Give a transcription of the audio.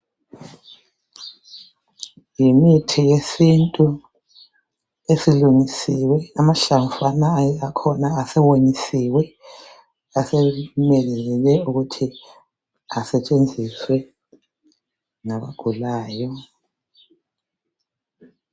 Yimithi yesintu esilungisiwe. Amahlamvu akhona asewonyisiwe asemelele ukuthi asetshenziswe ngabagulayo.